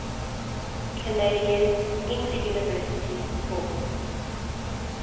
canadian interuniversity sport